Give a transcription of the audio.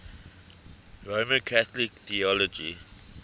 roman catholic theology